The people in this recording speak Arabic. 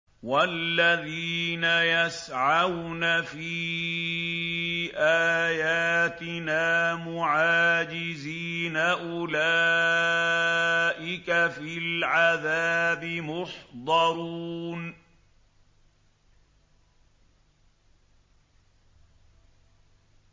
وَالَّذِينَ يَسْعَوْنَ فِي آيَاتِنَا مُعَاجِزِينَ أُولَٰئِكَ فِي الْعَذَابِ مُحْضَرُونَ